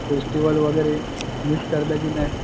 S T वाले वगैरे